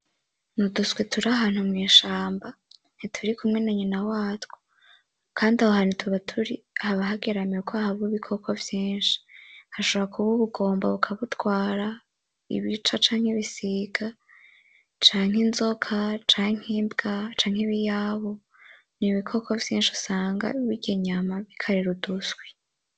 Ni uduswi turi ahantu mw'ishamba ntituri kumwe na nyina watwo, kandi aho hantu tuba turi haba hageramiwe kubera haba ibikoko vyinshi, hashobora kuba ubugomba bukabutwara, ibica, canke ibisiga, inzoka, imbwa, ibiyabu, n'ibikoko vyinshi usanga birya inyama bikarira uduswi.